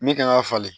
Min kan ka falen